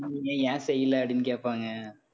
நீங்க ஏன் செய்யல அப்படின்னு கேப்பாங்க